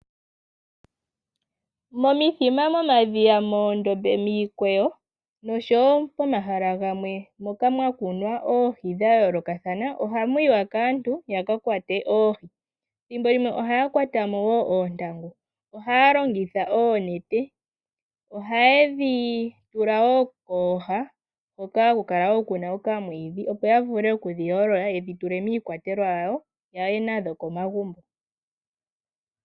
Momithima, momadhiya, moondombe, miikweyo nosho wo pomahala gamwe moka mwakunwa oohi dhayoolokathana ohamuyiwa kaantu yakakwate oohi, thimbo limwe ohaya kwata mo wo oontangu. Ohaya longitha oonete. Ohayedhi tula wo kooha hoka haku kala ku na okamwiidhi opo ya vule okudhiyoolola yedhi tule miikwatelwa yawo ya ye nadho komagumbo.